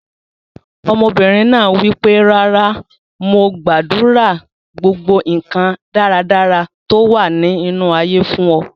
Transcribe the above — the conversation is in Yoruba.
Ọmọbìnrin náà wípé "rárá, àmọ́ mo gbàdúrà gbogbo nkan dáradára tó wà ní inú ayé fún ọ".